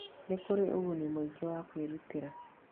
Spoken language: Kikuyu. Nĩ kũrĩ ũguni mũingĩ wa kwĩrutĩra.